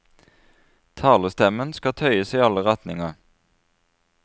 Talestemmen skal tøyes i alle retninger.